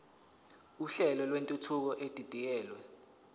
uhlelo lwentuthuko edidiyelwe